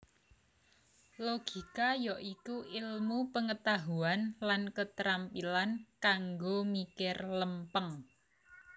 Logika ya iku ilmu pengetahuan lan ketrampilan kanggo mikir lempeng